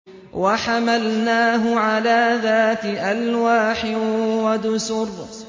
وَحَمَلْنَاهُ عَلَىٰ ذَاتِ أَلْوَاحٍ وَدُسُرٍ